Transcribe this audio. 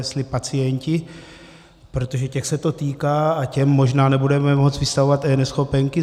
Jestli pacienti, protože těch se to týká a těm možná nebudeme moci vystavovat eNeschopenky.